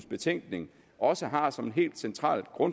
betænkning også har som en helt central